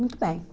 Muito bem.